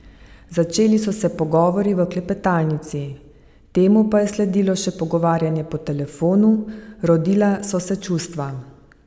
Začeli so se pogovori v klepetalnici, temu pa je sledilo še pogovarjanje po telefonu, rodila so se čustva.